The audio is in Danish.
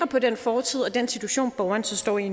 på den fortid og den situation borgeren så står i